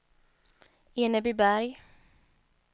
Enebyberg